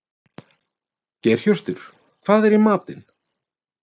Geirhjörtur, hvað er í matinn?